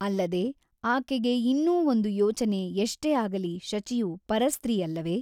ಅಲ್ಲದೆ ಆಕೆಗೆ ಇನ್ನೂ ಒಂದು ಯೋಚನೆ ಎಷ್ಟೇ ಆಗಲಿ ಶಚಿಯು ಪರಸ್ತ್ರೀಯಲ್ಲವೆ?